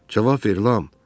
Cavab ver, Lam!